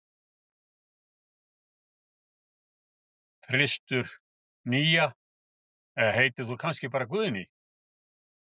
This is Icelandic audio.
þristur, nía eða heitir þú kannski bara Guðný?